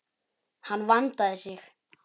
Hann vandaði sig.